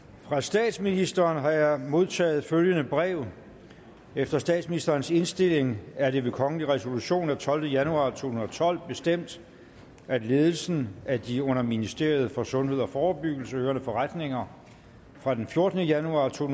fra statsministeren har jeg modtaget følgende brev efter statsministerens indstilling er det ved kongelig resolution af tolvte januar to tusind og tolv bestemt at ledelsen af de under ministeriet for sundhed og forebyggelse hørende forretninger fra den fjortende januar to